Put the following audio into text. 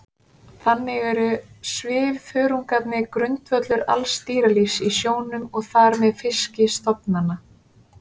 þannig eru svifþörungarnir grundvöllur alls dýralífs í sjónum og þar með fiskistofnanna